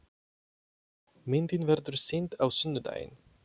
Myndin verður sýnd á sunnudaginn.